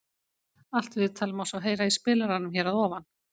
Allt viðtalið má svo heyra í spilaranum hér að ofan.